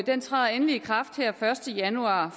det træder endeligt i kraft her den første januar